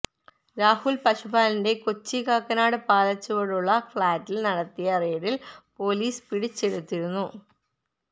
രാഹുൽ പശുപാലന്റെ കൊച്ചി കാക്കനാട് പാലച്ചുവടുള്ള ഫ്ളാറ്റിൽ നടത്തിയ റെയ്ഡിൽ പൊലീസ് പിടിച്ചെടുത്തിരുന്നു